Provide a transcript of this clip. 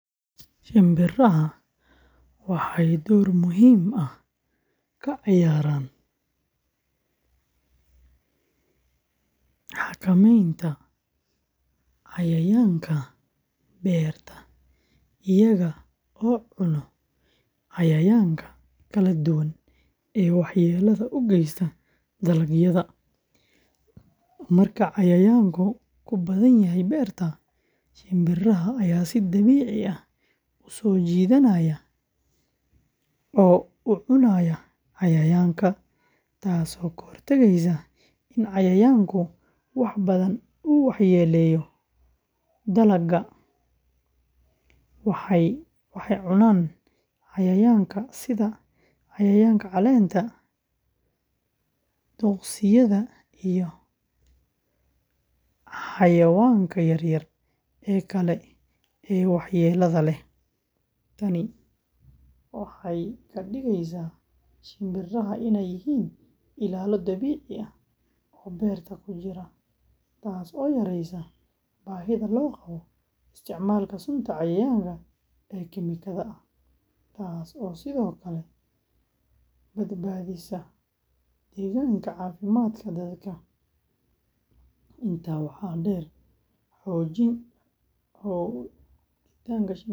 Shinbiraha waxay door muhiim ah ka ciyaaraan xakamaynta cayayaanka beerta iyaga oo cuno cayayaanka kala duwan ee waxyeellada u geysta dalagyada. Marka cayayaanku ku badan yahay beerta, shinbiraha ayaa si dabiici ah u soo jiidanaya oo u cunaya cayayaankaasi, taasoo ka hortagaysa in cayayaanku wax badan u waxyeelleeyo dalagga. Waxay cunaan cayayaanka sida cayayaanka caleenta, duqsiyada, iyo xayawaanka yaryar ee kale ee waxyeellada leh. Tani waxay ka dhigaysaa shinbiraha inay yihiin ilaalo dabiici ah oo beerta ku jira, taasoo yareysa baahida loo qabo isticmaalka sunta cayayaanka ee kiimikada ah, taasoo sidoo kale badbaadisa deegaanka iyo caafimaadka dadka. Intaa waxaa dheer, joogitaanka shinbiraha beerta.